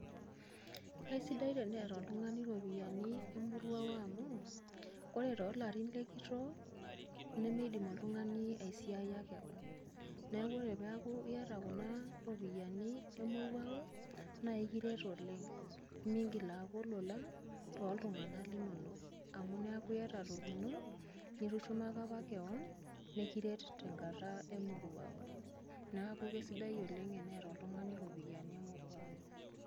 kaisidai teneeta oltungani iropiyiani emoruao amu, ore toolarin, lenkitoo nemeidim oltungani, aisiayia kewon .neeku oree pee eeku iyata kuna ropiyiani, emoruao naa ekiret oleng. migil aaku olola toltunganak linono. amu keeku iyata toki ino nitushumaka apa kewon. nikiret tenkata emoruao. neeku isdai oleng teneeta oltungani iropiyiani emoruao.